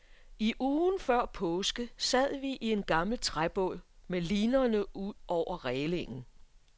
I ugen før påske sad vi i en gammel træbåd med linerne ud over rælingen.